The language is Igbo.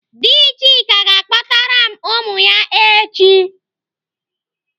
Dị Chika ga-akpọtara m ụmụ ya echi.